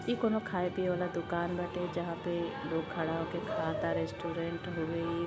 ई कउनो खाए पिए वाला दूकान बाटे जहाँ पे लोग खड़ा होके खाता रेस्टोरेंट हवे ई।